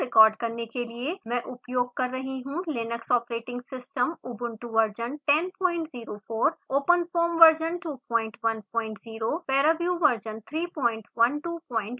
इस ट्यूटोरियल को रिकॉर्ड करने के लिए मैं उपयोग कर रही हूँ linux operating system ubuntu version 1004 openfoam version 210 paraview version 3120